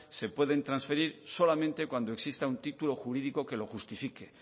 se pueden transferir solamente cuando exista un título jurídico que lo justifique